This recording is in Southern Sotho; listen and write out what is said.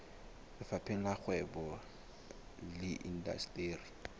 lefapheng la kgwebo le indasteri